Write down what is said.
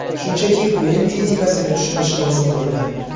Shunchaki o‘yin fizikasini tushunish lozim bo‘lgan.